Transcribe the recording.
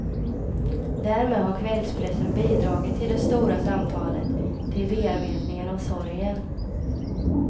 Därmed har kvällspressen bidragit till det stora samtalet, till bearbetningen av sorgen.